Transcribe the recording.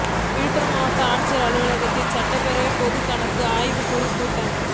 விழுப்புரம் மாவட்ட ஆட்சியர் அலுவலகத்தில் சட்டப்பேரவை பொதுக்கணக்கு குழு ஆய்வு கூட்டம்